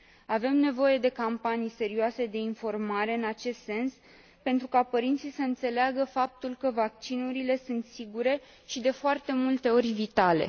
Avem nevoie de campanii serioase de informare în acest sens, pentru ca părinții să înțeleagă că vaccinurile sunt sigure și, de foarte multe ori, vitale.